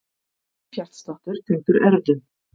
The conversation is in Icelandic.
Hægur hjartsláttur tengdur erfðum